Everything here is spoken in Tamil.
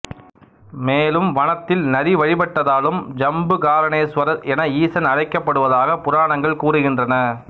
மேலும் வனத்தில் நரி வழிபட்டதாலும் ஜம்புகாரணேசுவரர் என ஈசன் அழைக்கப்படுவதாக புராணங்கள் கூறுகின்றன